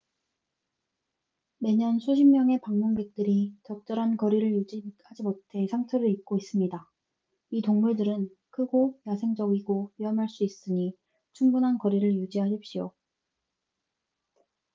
매년 수십 명의 방문객들이 적절한 거리를 유지하지 못해 상처를 입고 있습니다 이 동물들은 크고 야생적이고 위험할 수 있으니 충분한 거리를 유지하십시오